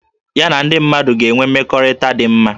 Ya na ndị mmadụ ga-enwe mmekọrịta dị mma